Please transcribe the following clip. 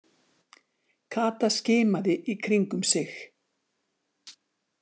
Kata skimaði í kringum sig.